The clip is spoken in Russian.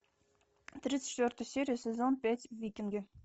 тридцать четвертая серия сезон пять викинги